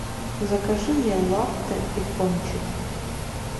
закажи мне латте и пончик